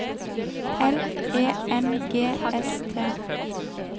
L E N G S T